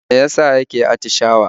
Me ya sa yake atishawa?